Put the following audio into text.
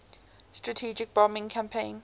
strategic bombing campaign